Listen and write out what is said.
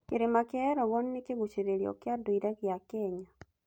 Kĩrĩma kĩa Elgon nĩ kĩgucĩrĩrio kĩa ndũire gĩa Kenya.